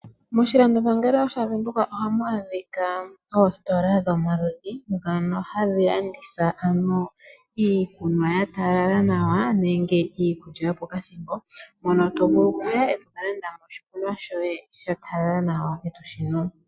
Moshilando pangelo shaVenduka ohamu adhika oositola dhomaludhi ndhono hadhi landitha ano iikunwa ya talala nawa nenge iikulya yopokathimbo, mono to vulu oku ya e to ka landa oshikunwa shoye sha talala nawa e toshi nu.